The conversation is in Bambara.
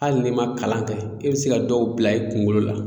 Hali n'i ma kalan kɛ i be se ka dɔw bila i kungolo la